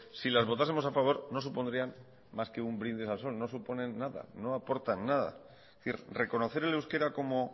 si las votásemos a favor no supondrían más que un brindis al sol no suponen nada no aportan nada es decir reconocer el euskera como